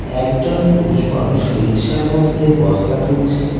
একজন পুরুষ মানুষ রিক্সার মধ্যে বস্তা তুলছে।